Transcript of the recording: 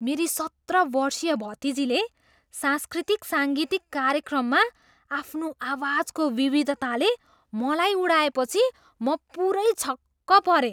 मेरी सत्र वर्षीया भतिजीले सांस्कृतिक साङ्गीतिक कार्यक्रममा आफ्नो आवाजको विविधताले मलाई उडाएपछि म पुरै छक्क परेँ।